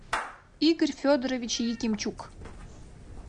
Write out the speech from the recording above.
игорь федорович якимчук